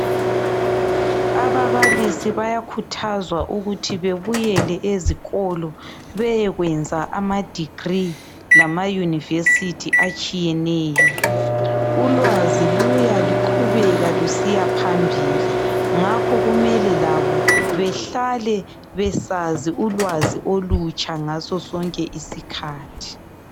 Ababalisi bayakhuthazwa ukuthi babuyele ezikolo beyekwenza ama degree lama University atshiyeneyo , ulwazi luya luqhubeka lusiya phambili ngakho kumele labo behlale besazi ulwazi olutsha ngaso sonke isikhathi.